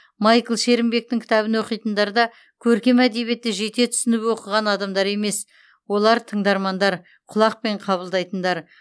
майкл шерімбектің кітабын оқитындар да көркем әдебиетті жете түсініп оқыған адамдар емес олар тыңдармандар құлақпен қабылдайтындар